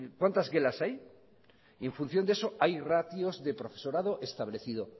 gelas hay y en función de eso hay ratios de profesorado establecido